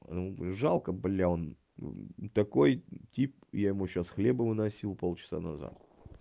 жалко бля он такой тип я ему сейчас хлеба выносил полчаса назад